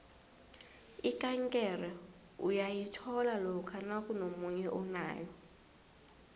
ikankere uyayithola lokha nakunomunye onayo